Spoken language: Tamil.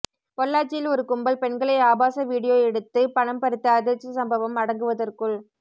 பொள்ளாச்சியில் ஒரு கும்பல் பெண்களை ஆபாச வீடியோ எடுத்து பணம்பறித்த அதிர்ச்சி சம்பவம் அடங்குவதற்குள்